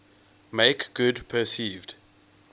make good perceived